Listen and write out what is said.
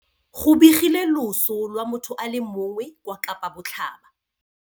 Go begilwe loso lwa motho a le mongwe kwa Kapa Botlhaba.